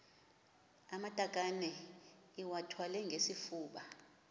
amatakane iwathwale ngesifuba